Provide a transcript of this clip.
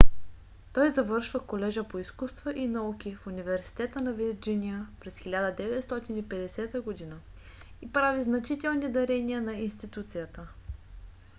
той завършва колежа по изкуства и науки в университета на вирджиния през 1950 г. и прави значителни дарения на институцията